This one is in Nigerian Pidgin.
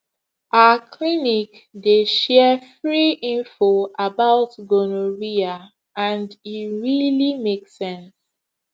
our clinic dey share free info about gonorrhea and e really make sense